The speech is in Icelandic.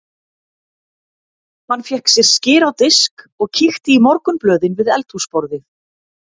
Hann fékk sér skyr á disk og kíkti í morgunblöðin við eldhúsborðið.